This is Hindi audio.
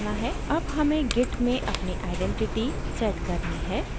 अब हमें git में अपनी आइडेंटिटी पहचान set करनी है